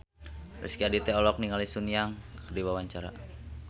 Rezky Aditya olohok ningali Sun Yang keur diwawancara